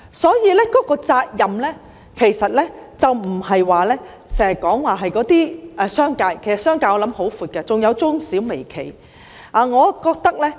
所以，責任其實不單是在商界，我想商界的範圍也十分廣闊，還包括中小微企。